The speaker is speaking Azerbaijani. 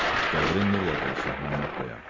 Qəbrin nurla dolsun Məmmədqaya.